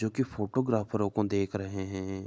जोकि फोटोग्रफरो को देख रहे हैं।